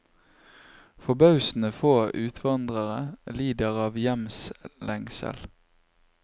Forbausende få utvandrere lider av hjemslengsel.